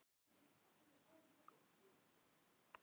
Hvaða innlend lið voru á eftir þér?